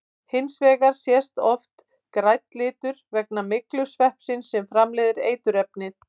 Hins vegar sést oft grænn litur vegna myglusveppsins sem framleiðir eiturefnið.